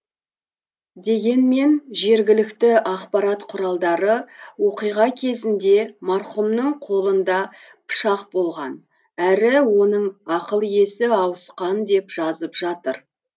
дегенмен жергілікті ақпарат құралдары оқиға кезінде марқұмның қолында пышақ болған әрі оның ақыл есі ауысқан деп жазып жатыр